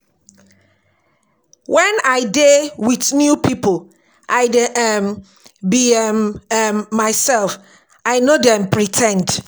Wen I dey wit new pipo, I dey um be um um mysef, I no dey um pre ten d.